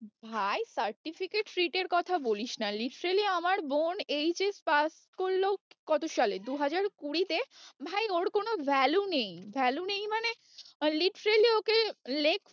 ভাই certificate fit এর কথা বলিস না literally আমার বোন HS pass করলো কত সালে দু হাজার কুড়ি তে, ভাই ওর কোনো value নেই value নেই মানে literally ওকে leg pull